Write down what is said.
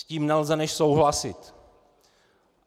S tím nelze než souhlasit.